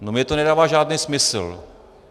No mně to nedává žádný smysl.